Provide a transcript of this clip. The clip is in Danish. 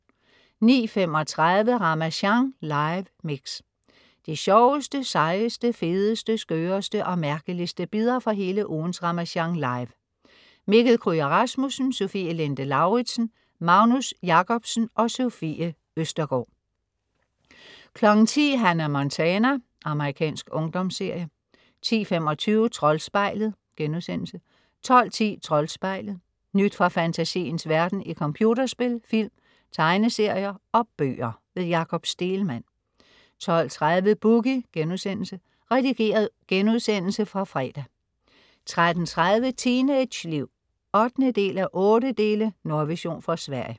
09:35 Ramasjang live mix. De sjoveste, sejeste, fedeste, skøreste og mærkeligste bidder fra hele ugens Ramasjang Live. Mikkel Kryger Rasmussen, Sofie Linde Lauridsen, Magnus Jacobsen, Sofie Østergaard 10.00 Hannah Montana. Amerikansk ungdomsserie 10.25 Troldspejlet* 12.10 Troldspejlet. Nyt fra fantasiens verden i computerspil, film, tegneserier og bøger. Jakob Stegelmann 12.30 Boogie.* Redigeret genudsendelse fra fredag 13.30 Teenageliv 8:8. Nordvision fra Sverige